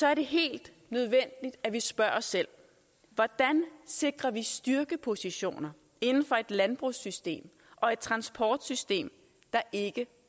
er det helt nødvendigt at vi spørger os selv hvordan sikrer vi styrkepositioner inden for et landbrugssystem og et transportsystem der ikke